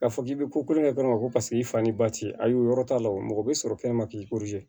K'a fɔ k'i bɛ ko kolo kɛ dɔrɔn ko paseke i fa ni ba ti a ye o yɔrɔ t'a la wo mɔgɔ bɛ sɔrɔ kɛnɛma k'i